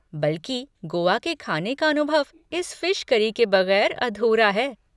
बल्कि गोआ के खाने का अनुभव इस फ़िश करी के बैगर अधूरा है।